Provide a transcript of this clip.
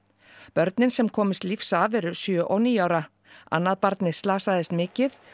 börnin sem komust lífs af eru sjö og níu ára annað barnið slasaðist mikið